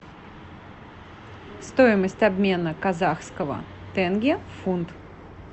стоимость обмена казахского тенге в фунт